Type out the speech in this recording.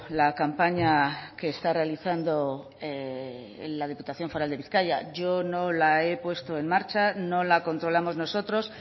la campaña que está realizando la diputación foral de bizkaia yo no la he puesto en marcha no la controlamos nosotros